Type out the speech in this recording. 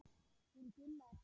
Hún Gulla er farin